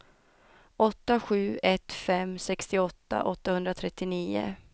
åtta sju ett fem sextioåtta åttahundratrettionio